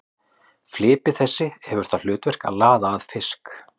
Flipi þessi hefur það hlutverk að laða að fisk.